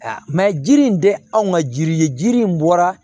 jiri in tɛ anw ka jiri ye jiri in bɔra